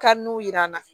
yiran na